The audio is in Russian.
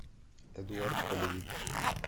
эдуард полевик